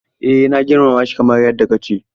Eh na girmama shi kamar yadda ka ce.